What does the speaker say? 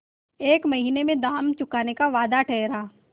एक महीने में दाम चुकाने का वादा ठहरा